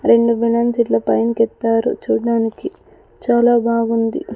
రెండు బేలన్స్ ఇట్ల పై కెత్తారు చూడ్డానికి చాలా బాగుంది.